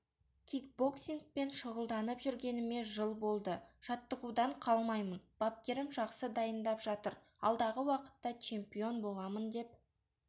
кикбоксингпен шұғылданып жүргеніме жыл болды жаттығудан қалмаймын бапкерім жақсы дайындап жатыр алдағы уақытта чемпион боламын деп